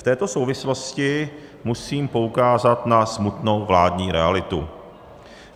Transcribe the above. V této souvislosti musím poukázat na smutnou vládní realitu.